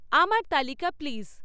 আমার তালিকা প্লিজ